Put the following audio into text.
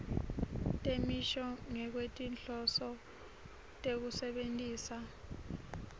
temisho ngekwetinhloso tekusebentisa